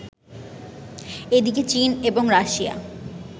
এদিকে চীন এবং রাশিয়া